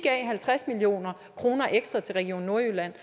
halvtreds million kroner ekstra til region nordjylland